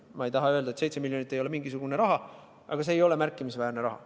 Ma ei taha öelda, et 7 miljonit ei ole mingisugune raha, aga see ei ole märkimisväärne raha.